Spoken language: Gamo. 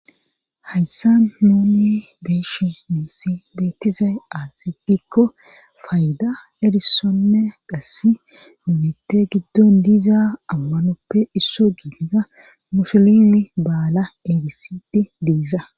hayssa nuonni beeshe muissi beettizay aasigikko fayda edisonne qass dumitte giddon diiza ammanoppe issoo giidida musolimi baala edisidi diisa